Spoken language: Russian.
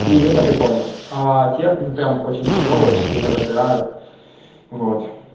и это прикольно те прям очень тяжёлые сильно выпирают вот